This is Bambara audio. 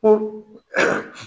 Ko